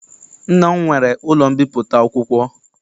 Nna m nwere ụlọ mbipụta akwụkwọ